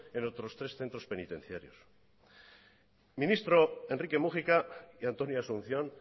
en otros tres centros penitenciarios ministro enrique múgica y antonio asunción